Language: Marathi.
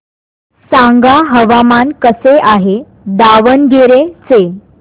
सांगा हवामान कसे आहे दावणगेरे चे